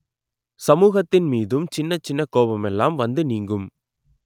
சமூகத்தின் மீதும் சின்ன சின்ன கோவமெல்லாம் வந்து நீங்கும்